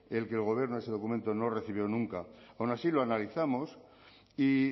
que el gobierno ese documento no recibió nunca aun así lo analizamos y